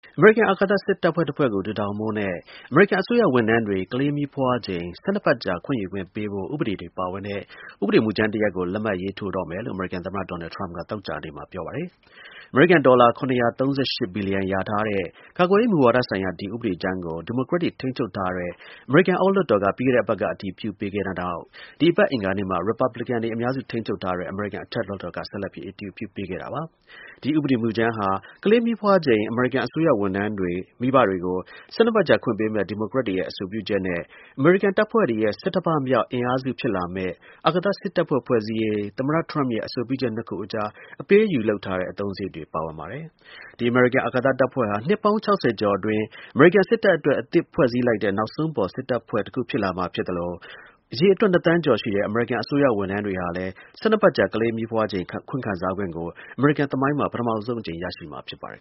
အမေရိကန် အာကာသ စစ်တပ်ဖွဲ့တစ်ဖွဲ့ကို တည်ထောင်ဖို့နဲ့ အမေရိကန် အစိုးရ ဝန်ထမ်းတွေ ကလေးမီးဖွားချိန် ၁၂ ပတ်ကြာ ခွင့်ယူခွင့် ပေးဖို့ ဥပဒေတွေပါဝင်တဲ့ ဥပဒေမူကြမ်းကို လက်မှတ်ရေးထိုးတော့မယ်လို့ အမေရိကန် သမ္မတ ဒေါ်နယ် ထရမ့်က သောကြာနေ့မှာ ပြောပါတယ်။ အမေရိကန် ဒေါ်လာ ၇၃၈ ဘီလီယံ လျာထားတဲ့ ကာကွယ်ရေး မူဝါဒဆိုင်ရာ ဒီ ဥပဒေမူကြမ်းကို ဒီမိုကရက်တွေ ထိန်းချုပ်ထားတဲ့ အမေရိကန် အောက်လွှတ်တော်က ပြီးခဲ့တဲ့ အပတ်က အတည်ပြုပြီးတဲ့နောက် ဒီအပတ် အင်္ဂါနေ့မှာ Republican တွေ အများစု ထိန်းချုပ်ထားတဲ့ အမေရိကန် အထက်လွှတ်တော်က ဆက်လက် အတည်ပြုထားပြီး ဖြစ်ပါတယ်။ ဒီ ဥပဒေ မူကြမ်းမှာ ကလေးမီးဖွားချိန် အမေရိကန် အစိုးရဝန်ထမ်း မိဘတွေကို ၁၂ ပတ်ကြာခွင့်ပေးမယ့် ဒီမိုကရက်တွေရဲ့ အဆိုပြုချက်နဲ့ အမေရိကန်တပ်ဖွဲ့တွေရဲ့ ဆဌမမြောက် အင်အားစုဖြစ်လာမယ့် အာကာသ စစ်တပ်ဖွဲ့ ဖွဲ့စည်းရေး သမ္မတ ထရမ့်ရဲ့ အဆိုပြုချက် နှစ်ခုစလုံး အတွက် အပေးအယူ လုပ်ထားတဲ့ အသုံးစရိတ်တွေ ပါဝင်ပါတယ်။ ဒီ အမေရိကန် အာကာသ တပ်ဖွဲ့ဟာ နှစ်ပေါင်း ၆၀ ကျော်အတွင်း အမေရိကန် စစ်တပ်အတွက် အသစ် ဖွဲ့စည်းလိုက်တဲ့ နောက်ဆုံးပေါ် စစ်တပ်ဖွဲ့တစ်ခု ဖြစ်လာမှာ ဖြစ်သလို အရေအတွက် ၂ သန်းကျော်ရှိတဲ့ အမေရိကန် အစိုးရဝန်ထမ်းတွေဟာလည်း ၁၂ ပတ်ကြာ ကလေးမီးဖွားချိန် ခွင့်ခံစားခွင့်ကို အမေရိကန် သမိုင်းမှာ ပထမဆုံး အကြိမ် ရရှိမှာ ဖြစ်ပါတယ်